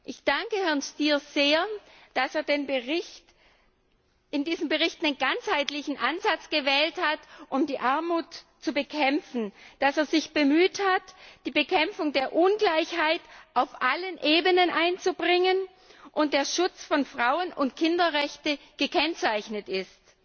Ich danke Herrn Stier sehr, dass er in diesem Bericht einen ganzheitlichen Ansatz gewählt hat, um die Armut zu bekämpfen, dass er sich bemüht hat, die Bekämpfung der Ungleichheit auf allen Ebenen einzubringen, und dass der Schutz von Frauen und Kinderrechten gekennzeichnet ist.